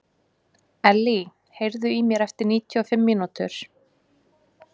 Elley, heyrðu í mér eftir níutíu og fimm mínútur.